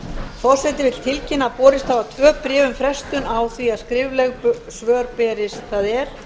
forseti vill tilkynna að borist hafa tvö bréf um frestun á því að skrifleg svör berist það er